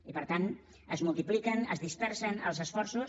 i per tant es multipliquen es dispersen els esforços